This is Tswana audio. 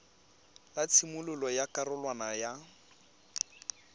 la tshimololo ya karolwana ya